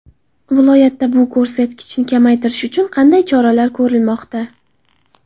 Viloyatda bu ko‘rsatkichni kamaytirish uchun qanday choralar ko‘rilmoqda?.